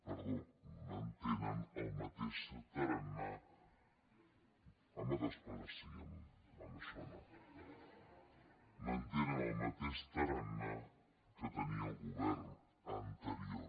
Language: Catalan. perdó mantenen el mateix tarannà coses sí en això no mantenen el mateix tarannà que tenia el govern anterior